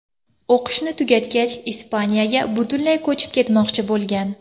O‘qishni tugatgach Ispaniyaga butunlay ko‘chib ketmoqchi bo‘lgan.